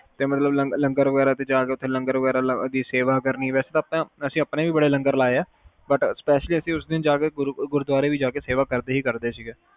ਤੇ ਮਤਲਬ ਲੰਗਰ ਵਗੈਰਾ ਚ ਜਾ ਕੇ ਓਥੇ ਸੇਵਾ ਕਰਦੇ ਸੀ ਅਸੀਂ ਵੈਸੇ ਅਸੀਂ ਆਪਣੇ ਵੀ ਬੜੇ ਵੀ ਬੇ ਲੰਗਰ ਲਾਏ ਆ butspecially ਅਸੀਂ ਉਸ ਦੀ ਗੁਰਦਵਾਰੇ ਜਾ ਕੇ ਸੇਵਾ ਕਰਦੇ ਸੀ